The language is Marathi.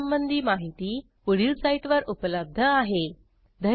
ह्या ट्युटोरियलचे भाषांतर मनाली रानडे यांनी केले असून मी रंजना भांबळे आपला निरोप घेते160